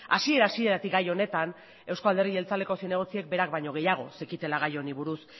hasiera hasieratik gai honetan euzko alderdi jeltzaleko zinegotziek berak baino gehiago zekitela gai honi buruz